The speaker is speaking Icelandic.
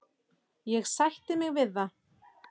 Ég sætti mig við það.